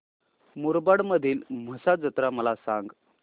मुरबाड मधील म्हसा जत्रा मला सांग